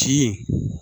Ci